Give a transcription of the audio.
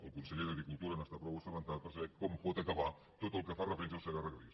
el conseller d’agricultura n’està prou assabentat per saber com pot acabar tot el que fa referència al segarra garrigues